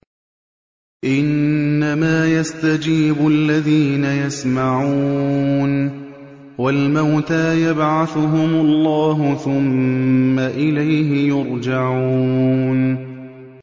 ۞ إِنَّمَا يَسْتَجِيبُ الَّذِينَ يَسْمَعُونَ ۘ وَالْمَوْتَىٰ يَبْعَثُهُمُ اللَّهُ ثُمَّ إِلَيْهِ يُرْجَعُونَ